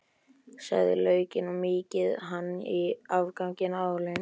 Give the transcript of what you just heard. Saxið laukinn og mýkið hann í afganginum af olíunni.